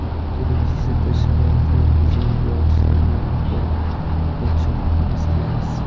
Televizorda sharoitlari zo‘r bog‘chalarni ko‘rib, ochig‘i havas qilamiz.